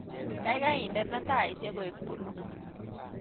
Gaigai indene taishek koek puluu